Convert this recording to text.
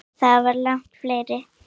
Þetta var langt ferli.